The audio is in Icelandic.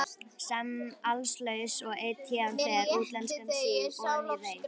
Senn allslaus og einn héðan fer, útlenskan síg oní reit.